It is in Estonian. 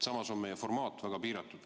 Samas on meie formaat väga piiratud.